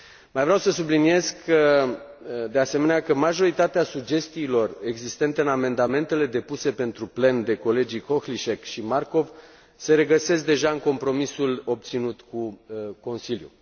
Mai vreau să subliniez, de asemenea, că majoritatea sugestiilor existente în amendamentele depuse pentru plen de colegii Kohlíček și Markov se regăsesc deja în compromisul obținut cu Consiliul.